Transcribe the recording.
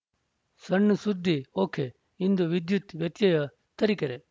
ಸಣ್‌ ಸುದ್ದಿ ಒಕೆಇಂದು ವಿದ್ಯುತ್‌ ವ್ಯತ್ಯಯ ತರಿಕೆರೆ